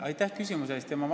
Aitäh küsimuse eest!